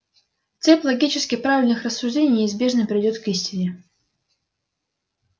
цепь логически правильных рассуждений неизбежно приведёт к истине